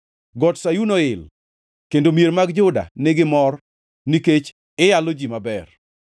Got Sayun oil, kendo mier mag Juda nigi mor, nikech iyalo ji maber.